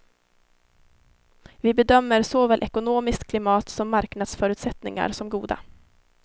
Vi bedömer såväl ekonomiskt klimat som marknadsförutsättningar som goda.